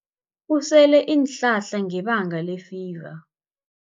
Usele iinhlahla ngebanga lefiva.